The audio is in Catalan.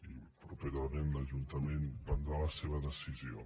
i properament l’ajuntament prendrà la seva decisió